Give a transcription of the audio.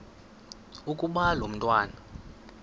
ukuba lo mntwana